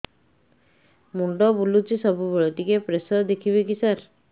ମୁଣ୍ଡ ବୁଲୁଚି ସବୁବେଳେ ଟିକେ ପ୍ରେସର ଦେଖିବେ କି ସାର